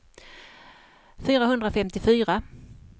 fyrahundrafemtiofyra